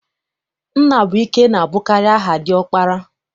Nnabụike na-abụkarị aha diọkpara.